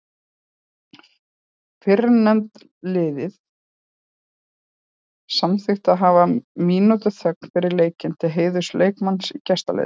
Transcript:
Fyrrnefnda liðið samþykkti að hafa mínútu þögn fyrir leikinn til heiðurs leikmanni í gestaliðinu.